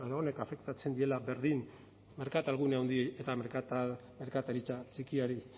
edo honek afektatzen diela berdin merkatal gune handi eta merkataritza txikiari